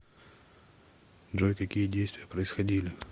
джой какие действия происходили